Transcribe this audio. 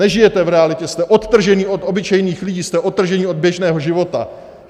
Nežijete v realitě, jste odtrženi od obyčejných lidí, jste odtrženi od běžného života.